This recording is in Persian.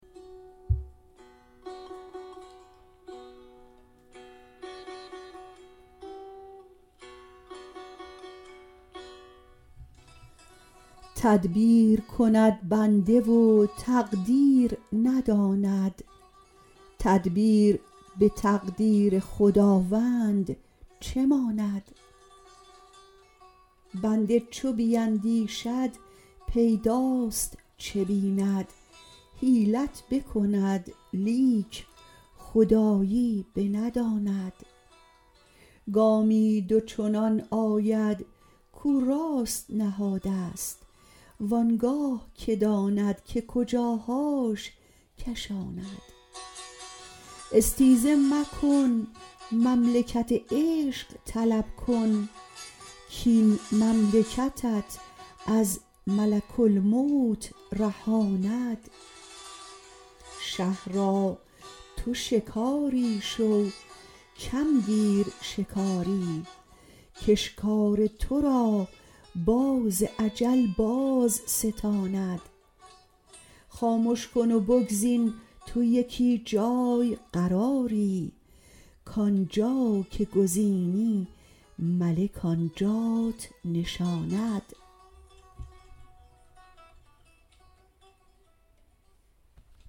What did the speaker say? تدبیر کند بنده و تقدیر نداند تدبیر به تقدیر خداوند چه ماند بنده چو بیندیشد پیداست چه بیند حیلت بکند لیک خدایی بنداند گامی دو چنان آید کو راست نهادست وان گاه که داند که کجاهاش کشاند استیزه مکن مملکت عشق طلب کن کاین مملکتت از ملک الموت رهاند شه را تو شکاری شو کم گیر شکاری کاشکار تو را باز اجل بازستاند خامش کن و بگزین تو یکی جای قراری کان جا که گزینی ملک آن جات نشاند